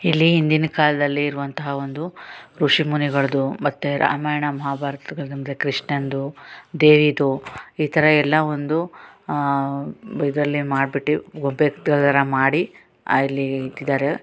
ಇಲ್ಲಿ ಹಿಂದಿನ ಕಾಲದಲ್ಲಿ ಇರುವಂತಹ ಒಂದು ಋಷಿ ಮುನಿಗಳಿದ್ದು ಮತ್ತೆ ರಾಮಾಯಣ ಮಹಾಭಾರತದಲ್ಲಿ ಅಂದ್ರೆ ಕೃಷ್ಣನಂದು ದೇವಿದು ಈ ತರ ಎಲ್ಲ ಒಂದು ಆಹ್ಹ್ ಇದ್ರಲ್ಲಿ ಮಾಡ್ಬಿಟ್ಟಿ ಗೊಂಬೆ ತರ ಮಾಡಿ ಇಲ್ಲಿ ಇಟ್ಟಿದ್ದಾರೆ.